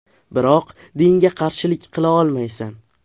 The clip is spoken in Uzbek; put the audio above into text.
Biroq dinga qarshilik qila olmaysan.